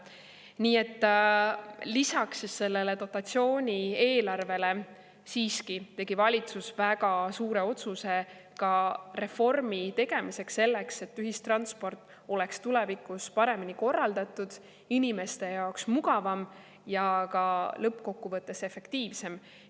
Nii et lisaks sellele dotatsiooni eelarvele tegi valitsus siiski väga suure otsuse ka reformi tegemiseks, selleks et ühistransport oleks tulevikus paremini korraldatud, inimeste jaoks mugavam ja lõppkokkuvõttes efektiivsem.